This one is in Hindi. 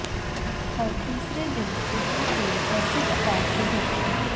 हर तीसरे दिन रिपोर्ट हुई एसिड अटैक की घटना